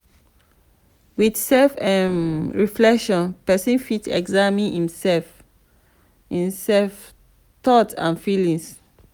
with self um reflection person fit examine im self thoughts and feelings